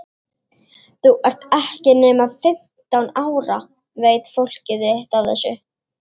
Þú ert ekki nema fimmtán ára. veit fólkið þitt af þessu?